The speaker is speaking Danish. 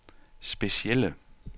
specielle